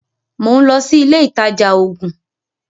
Mò ń lọ sí ilé ìtajà oògùn.